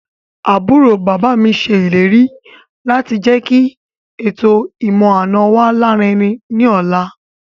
Àbúrò bàbá mi ṣe ìlérí láti jẹ́kí ètò ìmọ̀-àna wa larinrin ní ọ̀la